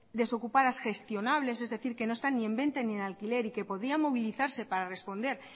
desocupadas gestionables es decir que no están ni en venta ni en alquiler y que podía movilizarse para responder